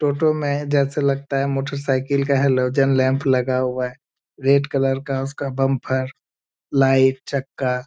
टोटो में जैसे लगता है मोटरसाइकिल का हैलोजन लैंप लगा हुआ है। रेड कलर का उसका बम्फर लाइट चक्का --